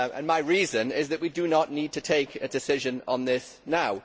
My reason is that we do not need to take a decision on this now.